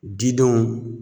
Didenw